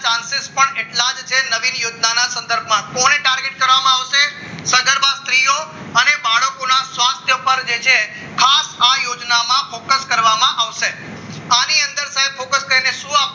chances પણ એટલા જ છે નવીન યોજનાના સંદર્ભમાં point target કરવામાં આવશે અને બાળકોના સ્વાસ્થ્ય પર છે આ યોજનામાં એક જ કરવામાં આવશે આની અંદર સાહેબ focus કરીને શું